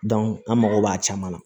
an mago b'a caman na